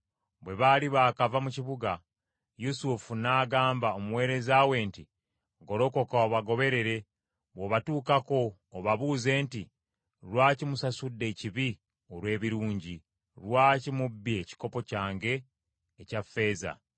Bwe baali baakava mu kibuga Yusufu n’agamba omuweereza we nti, “Golokoka obagoberere bw’obatuukako obabuuze nti, ‘Lwaki musasudde ekibi olw’ebirungi? Lwaki mubbye ekikopo kyange ekya ffeeza?